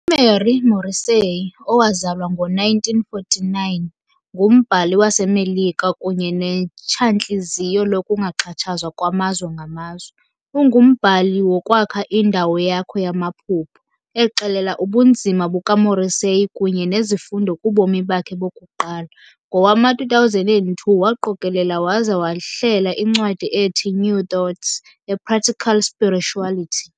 UMary Morrissey, owazalwa ngo-1949, ngumbhali waseMelika kunye netshantliziyo lokungaxhatshazwa kwamazwe ngamazwe. Ungumbhali "woKwakha iNdawo Yakho yamaphupha," exelela ubunzima bukaMorrissey kunye nezifundo kubomi bakhe bokuqala. Ngowama-2002 waqokelela waza wahlela incwadi ethi "New Thought- A Practical Spirituality."